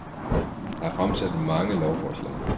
Der er fremsat mange lovforslag